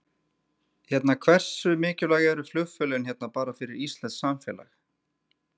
Hérna hversu mikilvæg eru flugfélögin hérna bara fyrir íslenskt samfélag?